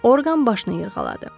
Orqan başını yırğaladı.